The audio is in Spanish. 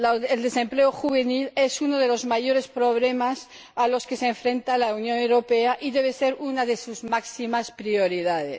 El desempleo juvenil también es uno de los mayores problemas a los que se enfrenta la Unión Europea, y debe ser una de sus máximas prioridades.